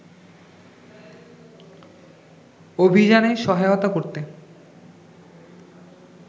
অভিযানে সহায়তা করতে